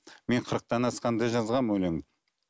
мен қырықтан асқанда жазғанмын өлең